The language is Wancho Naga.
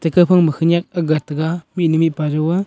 eeh kauphang ma khanyak aakga taga mihnu mipa jau aa.